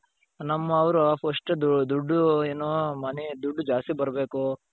ನಮ್ ಅವರು first ದುಡ್ಡು ಏನು ಮನೆ ದುಡ್ಡು ಜಾಸ್ತಿ ಬರಬೇಕು.